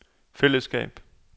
fællesskab